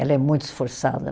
Ela é muito esforçada.